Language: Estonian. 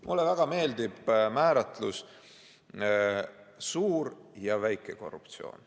Mulle väga meeldib määratlus "suur ja väike korruptsioon".